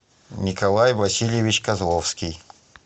николай васильевич козловский